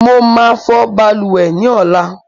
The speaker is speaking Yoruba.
Mo ma fò balùwè ni ọ̀la